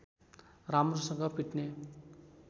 राम्रोसँग फिट्ने